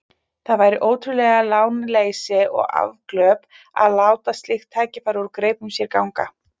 Það væri ótrúlegt lánleysi og afglöp að láta slík tækifæri úr greipum sér ganga.